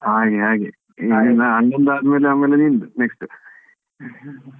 ಹಾಗೆ ಹಾಗೆ ಇನ್ನು ಅಣ್ಣನ್ದ್ ಆದ್ಮೇಲೆ ನಿಂದು next .